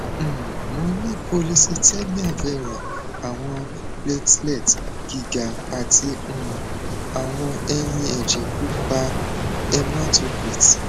um mo ni polycythemia vera awọn platelets giga ati um awọn eyin ẹjẹ pupa hematocrit